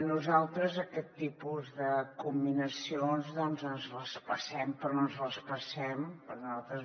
nosaltres aquest tipus de comminacions ens les passem per on ens les passem perquè nosaltres